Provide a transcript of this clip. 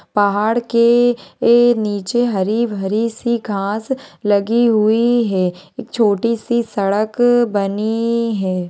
पहाड़ के ए नीचे हरी-भरी सी घास लगी हुई है एक छोटी सी सड़क बनी है।